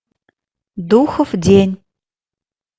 духов день